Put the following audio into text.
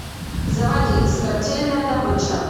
заводи смертельная добыча